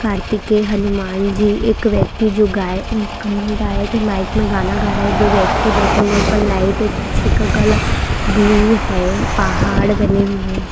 कार्तिके हनुमान जी एक व्यक्ति जो गायक गायक माइक में गाना गा रहा है दो व्यक्ति बैठे हुए हैं ऊपर लाइट है पीछे का कलर ब्लू है पहाड़ बने हुए --